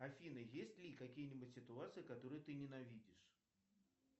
афина есть ли какие нибудь ситуации которые ты ненавидишь